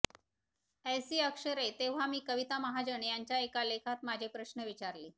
ऐसीअक्षरे तेव्हा मी कविता महाजन यांच्या एका लेखात माझे प्रश्न विचारले